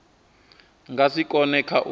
nga si kone kha u